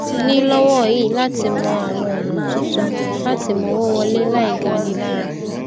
ni lowọi láti mọ àwọn ònà tuntun lati mowo wọlé láì gani lara